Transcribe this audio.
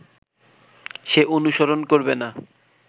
সে অনুসরণ করবে না